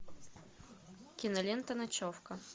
кинолента ночевка